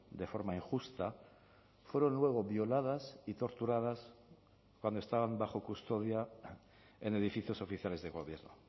de forma injusta fueron luego violadas y torturadas cuando estaban bajo custodia en edificios oficiales de gobierno